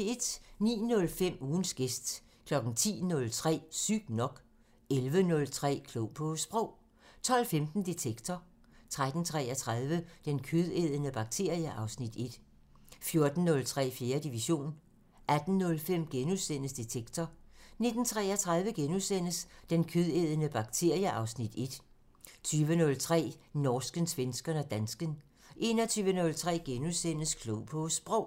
09:05: Ugens gæst 10:03: Sygt nok 11:03: Klog på Sprog 12:15: Detektor 13:33: Den kødædende bakterie (Afs. 1) 14:03: 4. division 18:05: Detektor * 19:33: Den kødædende bakterie (Afs. 1)* 20:03: Norsken, svensken og dansken 21:03: Klog på Sprog *